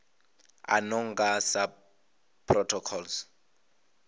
a no nga sa protocols